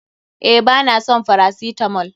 Eh ba na son farasitamol.